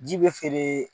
Ji bɛ feere